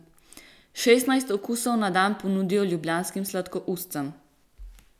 Šestnajst okusov na dan ponudijo ljubljanskim sladokuscem.